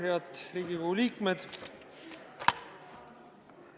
Head Riigikogu liikmed!